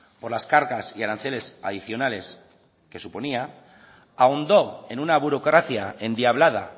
por las cargas y aranceles adicionales que suponía ahondó en una burocracia endiablada